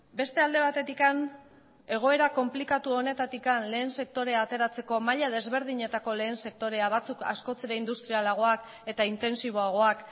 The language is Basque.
beste alde batetik egoera konplikatu honetatik lehen sektorea ateratzeko maila desberdinetako lehen sektorea batzuk askoz ere industrialagoak eta intentsiboagoak